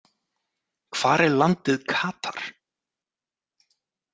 Hvar er landið Katar?